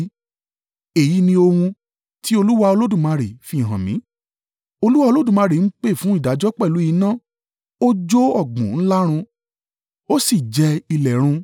Èyí ni ohun ti Olúwa Olódùmarè fihàn mí: Olúwa Olódùmarè ń pè fún ìdájọ́ pẹ̀lú iná; ó jó ọ̀gbun ńlá rún, ó sì jẹ ilẹ̀ run.